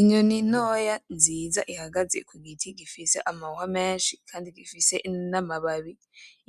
Inyoni ntoya nziza ihagaze ku giti gifise amahwa menshi kandi gifise n'amababi,